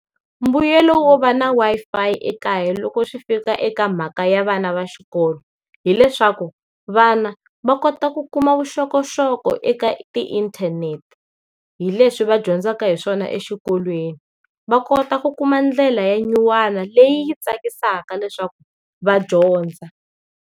Mbuyelo wo va na Wi-Fi ekaya loko swi fika eka mhaka ya vana va xikolo. Hileswaku, vana, va kota ku kuma vuxokoxoko eka ti inthanete, hi leswi va dyondzaka hi swona exikolweni. Va kota ku kuma ndlela ya nyuwana leyi yi tsakisaka leswaku va dyondza.